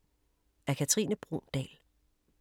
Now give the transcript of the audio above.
Af Katrine Bruun Dahl